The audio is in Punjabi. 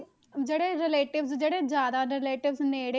ਜਿਹੜੇ relatives ਜਿਹੜੇ ਜ਼ਿਆਦਾ relatives ਨੇੜੇ,